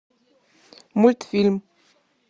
мультфильм